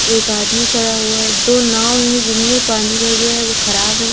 एक आदमी खड़ा हुआ है दो नाव हैं जिनमें पानी भर गया है वो ख़राब हैं।